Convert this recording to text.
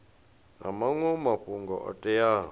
na maṅwe mafhungo o teaho